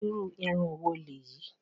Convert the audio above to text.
Irú irun wo lèyí?